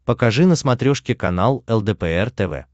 покажи на смотрешке канал лдпр тв